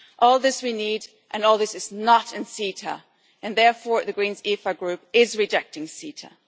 All this we need and all this is not in CETA, and therefore the Greens EFA Group is rejecting CETA.